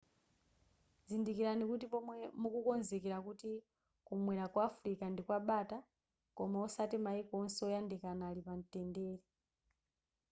dzindikirani kuti pomwe mukukonzekera kuti kumwera kwa africa ndikwabata koma osati mayiko onse oyandikana ali pamtendere